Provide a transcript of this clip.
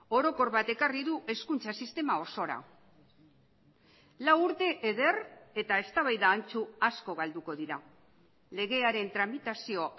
orokor bat ekarri du hezkuntza sistema osora lau urte eder eta eztabaida antzu asko galduko dira legearen tramitazio